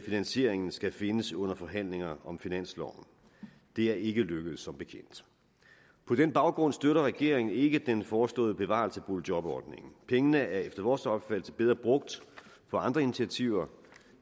finansieringen skal findes under forhandlinger om finansloven det er ikke lykkedes som bekendt på den baggrund støtter regeringen ikke den foreslåede bevarelse af boligjobordningen pengene er efter vores opfattelse bedre brugt på andre initiativer